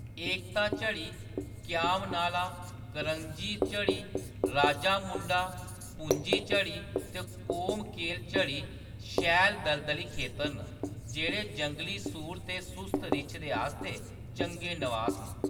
एकता झड़ी, क्याम नाला, करंजी झड़ी, राजामुंडा, पुंजी झड़ी ते कोमकेल झड़ी शैल दलदली खेतर न जेह्‌‌ड़े जंगली सूर ते सुस्त रिच्छ दे आस्तै चंगे नवास न।